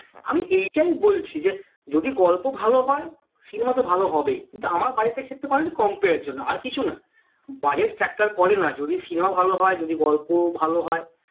আমি এইটাই বলছিলাম যে যদি গল্প হয় cinema তো ভালো হবেই তা আমার compare এর জন্য আর কিছু না budget factor করে না যদি cinema ভালো হয় যদি গল্প ভালো হয়